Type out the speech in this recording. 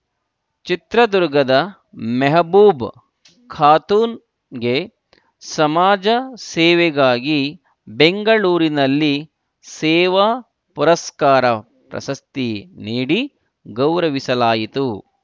ಚಿತ್ರದುರ್ಗದ ಮೆಹಬೂಬ್‌ ಖಾತೂನ್‌ಗೆ ಸಮಾಜ ಸೇವೆಗಾಗಿ ಬೆಂಗಳೂರಿನಲ್ಲಿ ಸೇವಾ ಪುರಸ್ಕಾರ ಪ್ರಶಸ್ತಿ ನೀಡಿ ಗೌರವಿಸಲಾಯಿತು